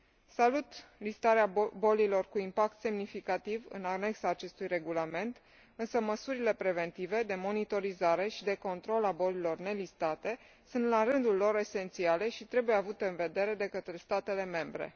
Salut listarea bolilor cu impact semnificativ în anexa la acest regulament, însă măsurile preventive de monitorizare și de control a bolilor nelistate sunt, la rândul lor, esențiale și trebuie avute în vedere de către statele membre.